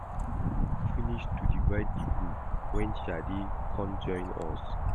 We don finish to divide the group wen Shade come join us